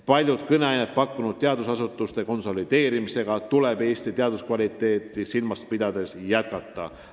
Palju kõneainet pakkunud teadusasutuste konsolideerimisega tuleb Eestis teaduskvaliteeti silmas pidades jätkata.